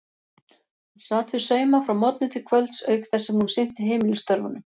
Hún sat við sauma frá morgni til kvölds auk þess sem hún sinnti heimilisstörfunum.